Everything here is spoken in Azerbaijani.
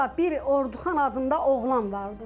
Sonra bir Orduxan adında oğlan vardı.